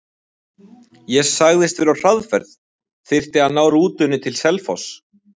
Ég sagðist vera á hraðferð, þyrfti að ná rútunni til Selfoss.